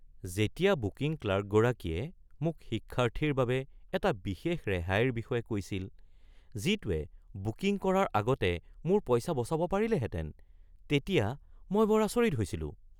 যেতিয়া বুকিং ক্লাৰ্কগৰাকীয়ে মোক শিক্ষাৰ্থীৰ বাবে এটা বিশেষ ৰেহাইৰ বিষয়ে কৈছিল যিটোৱে বুকিং কৰাৰ আগতে মোৰ পইচা বচাব পাৰিলেহেঁতেন তেতিয়া মই বৰ আচৰিত হৈছিলোঁ।